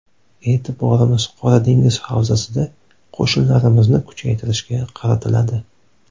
E’tiborimiz Qora dengiz havzasida qo‘shinlarimizni kuchaytirishga qaratiladi.